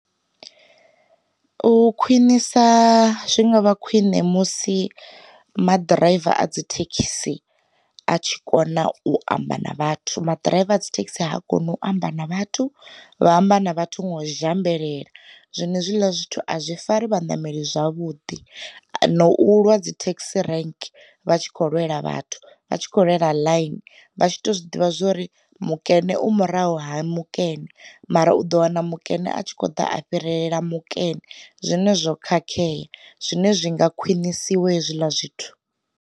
U khwinisa zwi ngavha khwine musi ma ḓiraiva a dzi thekhisi a tshi kona u amba na vhathu, maḓiraiva a dzi thekhisi ha koni u amba na vhathu vha amba na vhathu nga u zhambelela. Zwino hezwiḽa zwithu a zwi fani vha ṋameli zwavhuḓi na u lwa dzi thekhisi renke vha tshi kho lwela vhathu vha tshi kho lwela ḽayini, vha tshi to zwiḓivha zwori mukene u murahu ha mu kene, mara u ḓo wana mukene a tshi kho ḓa a fhirela mukene. Zwine zwo khakhea, zwine zwi nga khwinisiwa hezwiḽa zwithu.